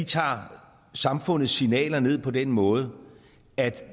tager samfundets signaler ned på den måde at